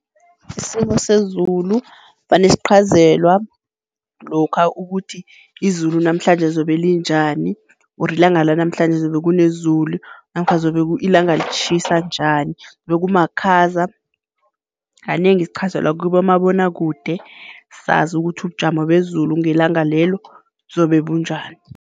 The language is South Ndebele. Isimo sezulu vane sichazelwa lokha ukuthi izulu namhlanje zobe linjani or ilanga lanamhlanje zobe kunezulu namkha zobe ilanga litjhisa njani zobe kumakhaza. Kanengi sichazelwa kibomabonwakude, sazi ukuthi ubujamo bezulu ngelanga lelo buzobe bunjani.